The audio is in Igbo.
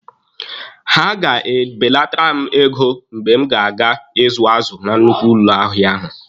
Ha ga-ebelatara m ego mgbe m ga-aga ịzụ azụ na nnukwu ụlọ ahịa ahụ.